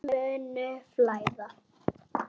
Tárin munu flæða.